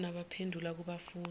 yibona abaphendula kubafundi